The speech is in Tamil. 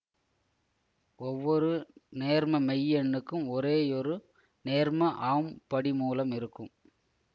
ஒவ்வொரு நேர்ம மெய்யெண்ணுக்கும் ஒரேயொரு நேர்ம ஆம் படிமூலம் இருக்கும்